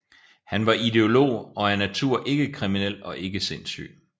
Han var ideolog og af natur ikke kriminel og ikke sindssyg